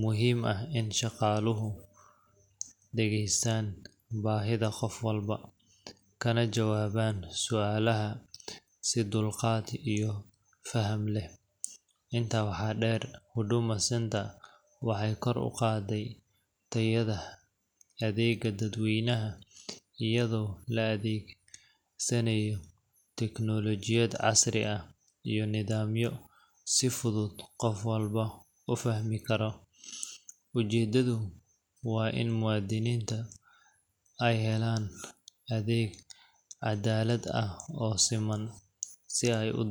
muhiim ah in shaqaaluhu dhegaystaan baahida qof walba, kana jawaabaan su’aalaha si dulqaad iyo faham leh. Intaa waxaa dheer, Huduma Centre waxay kor u qaaday tayada adeegga dadweynaha iyadoo la adeegsanayo tiknoolajiyad casri ah iyo nidaamyo si fudud qof walba u fahmi karo. Ujeeddadu waa in muwaadiniintu ay helaan adeeg cadaalad ah oo siman.